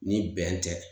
Ni bɛn tɛ